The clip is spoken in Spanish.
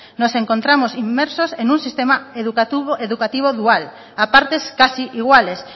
nos encontramos inmersos en un sistema educativo dual a partes casi iguales